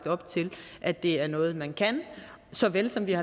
op til at det er noget man kan såvel som vi